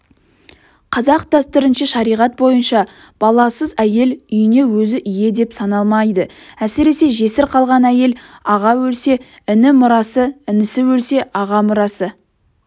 қазақ дәстүрінше шариғат бойынша баласыз әйел үйіне өзі ие деп саналмайды әсіресе жесір қалған әйел аға өлсе іні мұрасы інісі өлсе аға мұрасы